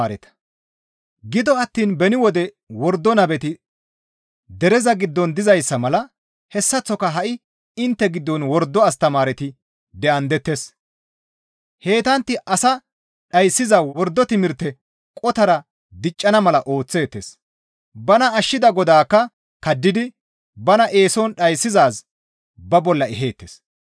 Gido attiin beni wode wordo nabeti dere giddon dizayssa mala hessaththoka ha7i intte giddon wordo astamaareti de7andettes; heytantti asa dhayssiza wordo timirte qotara diccana mala ooththeettes; bana ashshida Godaakka kaddidi bana eeson dhayssizaaz ba bolla eheettes.